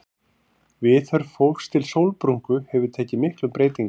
Viðhorf fólks til sólbrúnku hefur tekið miklum breytingum.